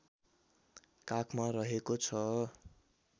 काखमा रहेको छ